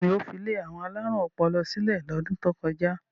Bẹ́ẹ̀ ni, ó fi ilé àwọn alárùn ọpọlọ sílẹ̀ lọ́dún tó kọjá.